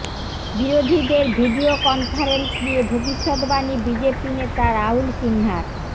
বিরোধীদের video conference নিয়ে ভবিষ্যদ্বাণী বিজেপি নেতা রাহুল সিনহার